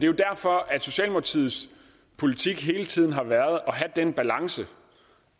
jo derfor at socialdemokratiets politik hele tiden har været at have den balance